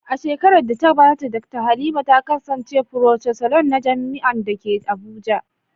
A shekarar da ta gabata, Dakta Halima ta kasance Pro-chancellor na jami’ar da ke Abuja.